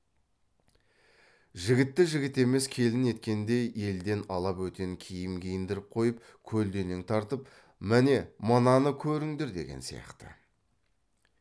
жігітті жігіт емес келін еткендей елден ала бөтен киім киіндіріп қойып көлденең тартып міне мынаны көріңдер деген сияқты